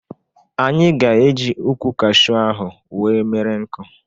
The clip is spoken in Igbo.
Anyị ga-eji ukwụ kashu ahụ wee mere nkụ.